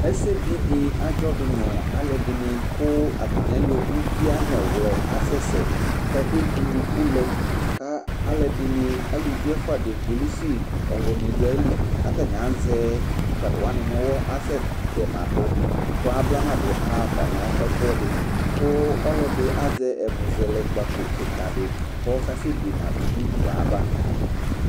Ɛsɛ bi ɖɩ aɖzɔ ɖʋ nʋ alʋ ɛɖɩnɩ ,ƙʋ atanɩ aƴɔ ubiǝ nʋ ɛwlɔ asɛ sɛ ƙʋ ata nɩ eɖe unuƙu lɛƘʋ aluvi ɛfʋa ɖɩ, ƙpolusi ɔlʋ nɩ ɖʋ aƴili, ƙʋ ata nɩ azɛ alʋ wanɩ nʋ ʋwɔ asɛ ɖɛmaɖʋ, ƙʋ abla ma ɖʋ aɣa fa nʋ ɛfʋɛɖɩƘʋ ɔlɔɖɩ azɛ ɛmʋzɛƙpaƙo ƙɩƙa ɖɩ ƙʋ ɔƙasɛɖemaɖʋ nʋ uɖu ƴaba